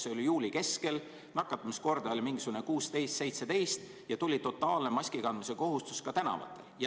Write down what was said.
See oli juuli keskel, nakatamiskordaja oli mingisugune 16-17 ja tuli totaalne, ka tänaval maski kandmise kohustus.